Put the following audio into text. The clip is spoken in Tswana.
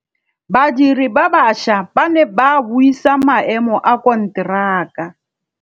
Badiri ba baša ba ne ba buisa maêmô a konteraka.